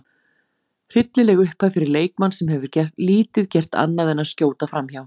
Hryllileg upphæð fyrir leikmann sem hefur lítið gert annað en að skjóta framhjá.